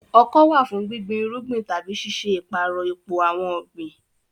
Ọkọ́ wà fún gbígbin irúgbìn tàbí ṣíṣe ìpààrọ̀ ipò àwọn ọ̀gbìn.